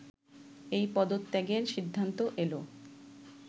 এই পদত্যাগের সিদ্ধান্ত এল